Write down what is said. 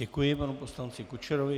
Děkuji panu poslanci Kučerovi.